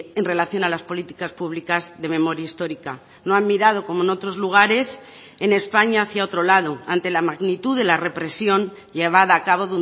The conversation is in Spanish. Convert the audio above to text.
en relación a las políticas públicas de memoria histórica no han mirado como en otros lugares en españa hacia otro lado ante la magnitud de la represión llevada a cabo